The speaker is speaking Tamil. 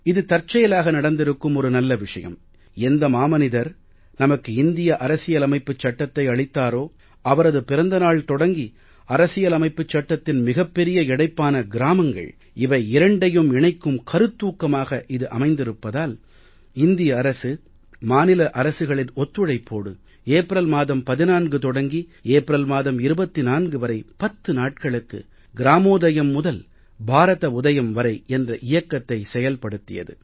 இது தற்செயலாக நடந்திருக்கும் ஒரு நல்ல விஷயம் எந்த மாமனிதர் நமக்கு இந்திய அரசியலமைப்புச் சட்டத்தை அளித்தாரோ அவரது பிறந்த நாள் தொடங்கி அரசியலமைப்புச் சட்டத்தின் மிகப் பெரிய இணைப்பான கிராமங்கள் இவை இரண்டையும் இணைக்கும் கருத்தூக்கமாக இது அமைந்திருப்பதால் இந்திய அரசு மாநில அரசுகளின் ஒத்துழைப்போடு ஏப்ரல் மாதம் 14 தொடங்கி ஏப்ரல் மாதம் 24 வரை பத்து நாட்களுக்கு கிராமோதயம் முதல் பாரத உதயம் வரை என்ற இயக்கத்தை செயல் படுத்தியது